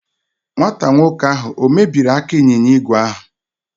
Nwata nwoke ahụ ọ̀ mebiri aka ịnyịnya ígwè ahụ?